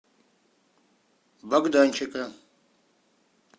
богданчика